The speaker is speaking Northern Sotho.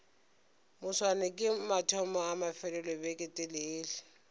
moswane ke mathomo a mafelelobeketelele